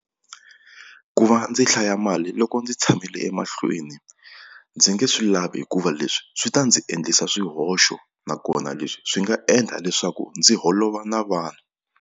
Ku va ndzi hlaya mali loko ndzi tshamile emahlweni ndzi nge swi lavi hikuva leswi swi ta ndzi endlisa swihoxo nakona leswi swi nga endla leswaku ndzi holova na vanhu.